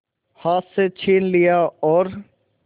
हाथ से छीन लिया और